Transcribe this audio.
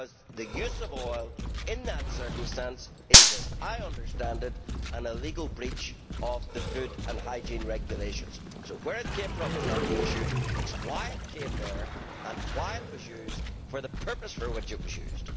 The use of oil in that circumstance is, as I understand it, illegal, a breach of the food and hygiene regulations. So where it came from is not the issue it is why it came there and why it was used for the purpose for which it was used.